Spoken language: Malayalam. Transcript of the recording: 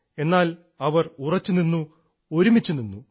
എന്നാൽ അവർ ഉറച്ചുനിന്നു ഒരുമിച്ചു നിന്നു